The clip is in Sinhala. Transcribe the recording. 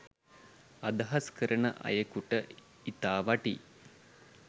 අදහස් කරන අයකුට ඉතා වටී.